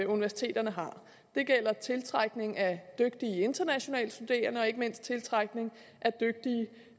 universiteterne har det gælder tiltrækning af dygtige internationale studerende og ikke mindst tiltrækning